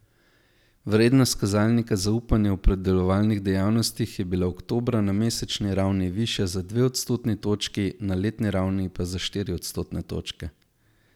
Vrednost kazalnika zaupanja v predelovalnih dejavnostih je bila oktobra na mesečni ravni višja za dve odstotni točki, na letni ravni pa za štiri odstotne točke.